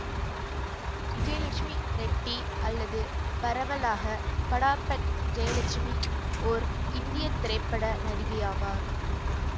விஜயலட்சுமி ரெட்டி அல்லது பரவலாக படாபட் ஜெயலட்சுமி ஓர் இந்திய திரைப்பட நடிகை ஆவார்